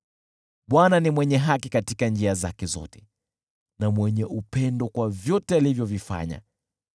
Bwana ni mwenye haki katika njia zake zote, na mwenye upendo kwa vyote alivyovifanya.